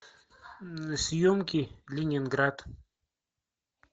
съемки ленинград